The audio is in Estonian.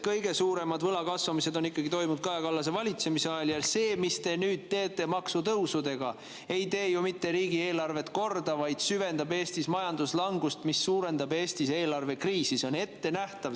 Kõige suurem võla kasvamine on ikkagi toimunud Kaja Kallase valitsemisajal ja see, mida te nüüd teete maksutõusudega, ei tee ju mitte riigieelarvet korda, vaid süvendab Eestis majanduslangust, mis suurendab Eestis eelarvekriisi, see on ettenähtav.